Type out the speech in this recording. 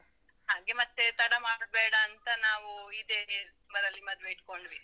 ಹಾಗೆ ಮತ್ತೇ ತಡ ಮಾಡುದ್ಬೇಡ ಅಂತ ನಾವೂ ಇದೇ ಡಿಸೆಂಬರಲ್ಲಿ ಮದ್ವೆ ಇಟ್ಕೊಂಡ್ವಿ.